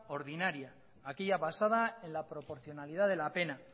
ordinaria aquella basada en la proporcionalidad de la pena